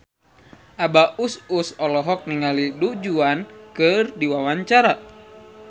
Abah Us Us olohok ningali Du Juan keur diwawancara